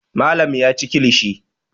Malam ya ci kilishi.